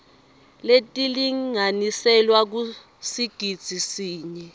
letilinganiselwa kusigidzi sinye